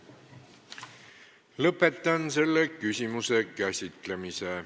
Lõpetan selle küsimuse käsitlemise.